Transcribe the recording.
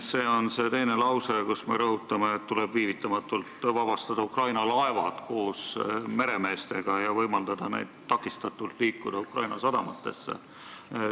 See on see teine lause, kus me rõhutame, et tuleb viivitamatult vabastada Ukraina laevad koos meremeestega ja võimaldama neil takistamatult liikuda Ukraina sadamatesse.